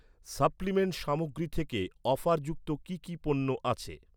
Supplement সামগ্রী থেকে offer যুক্ত কি কি পণ্য আছে?